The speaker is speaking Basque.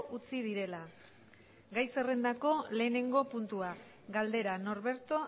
utzi direla gai zerrendako lehenengo puntua galdera norberto